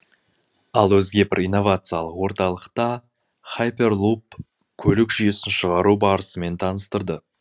ал өзге бір инновациялық орталықта хайперлуп көлік жүйесін шығару барысымен таныстырды